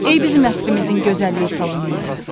Ey bizim əsrimizin gözəllik salonları.